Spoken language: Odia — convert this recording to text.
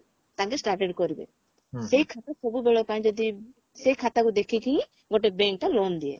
ତାଙ୍କେ started କରିବେ ସେଇ ଖାତା ସବୁବେଳ ପାଇଁ ଯଦି ସେଇ ଖାତାକୁ ଦେଖିକି ହିଁ ଗୋଟେ bank ତା loan ଦିଏ